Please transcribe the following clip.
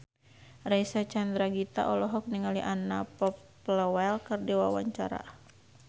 Reysa Chandragitta olohok ningali Anna Popplewell keur diwawancara